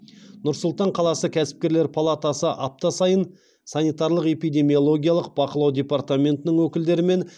нұр сұлтан қаласы кәсіпкерлер палатасы апта сайын санитарлық эпидемиологиялық бақылау департаментінің өкілдерімен